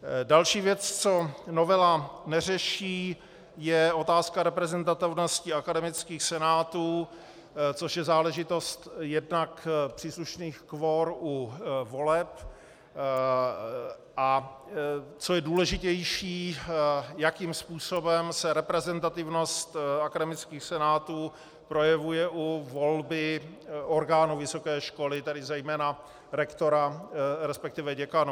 Další věc, co novela neřeší, je otázka reprezentativnosti akademických senátů, což je záležitost jednak příslušných kvor u voleb, a co je důležitější, jakým způsobem se reprezentativnost akademických senátů projevuje u volby orgánů vysoké školy, tedy zejména rektora, respektive děkanů.